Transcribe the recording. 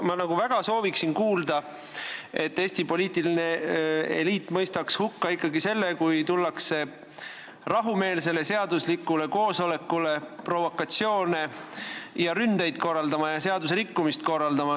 Ma sooviksin väga kuulda, et Eesti poliitiline eliit mõistaks ikkagi hukka selle, kui rahumeelsele seaduslikule koosolekule tullakse provokatsioone ja ründeid, seadusrikkumisi korraldama.